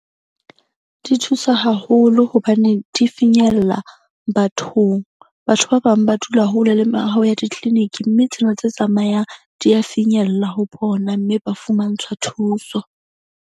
Di thusa haholo hobane di finyella bathong. Batho ba bang ba dula hole le mehaho ya di-clinic-i mme tsena tse tsamayang di ya finyella ho bona mme ba fumantshwa thuso.